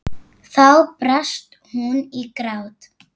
Þá brast hún í grát.